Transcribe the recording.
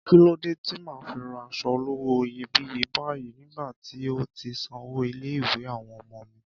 Kí lódé tí màá fi ra aṣọ olówó iyebíye báyìí nígbà tí ń ò tíì sanwó ilé-ìwé àwọn ọmọ mi?